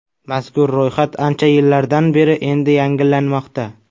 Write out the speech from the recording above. Mazkur ro‘yxat ancha yillardan beri endi yangilanmoqda.